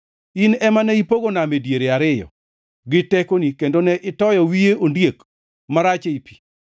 In ema ne ipogo nam e diere ariyo gi tekoni, kendo ne itoyo wiye ondiek marach ei pi.